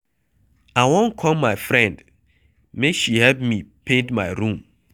I wan call my friend make she help me paint my room.